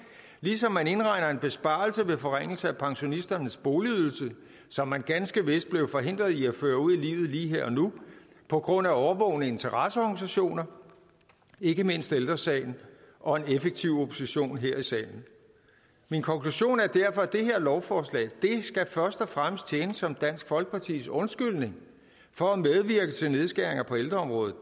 ligesom man indregner en besparelse ved forringelser af pensionisternes boligydelse som man ganske vist bliver forhindret i at føre ud i livet lige her og nu på grund af årvågne interesseorganisationer ikke mindst ældre sagen og en effektiv opposition her i salen min konklusion er derfor at det her lovforslag først og fremmest skal tjene som dansk folkepartis undskyldning for at medvirke til nedskæringer på ældreområdet